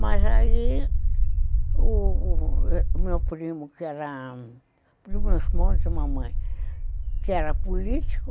Mas aí, o meu primo, que era do meu esposo e mamãe, que era político,